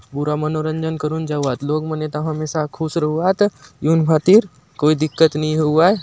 पूरा मनोरंजन करुन जावात लोग मन एथा हमेशा खुश रहुआत एउन भांति कोई दिक्कत नहीं हउआय।